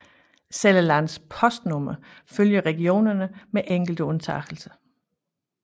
Selv landets postnumre følger regionerne med enkelte undtagelser